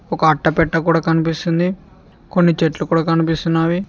ఒక అట్టపెట్టకూడ కనిపిస్తుంది కొన్ని చెట్లు కూడా కనిపిస్తున్నావి.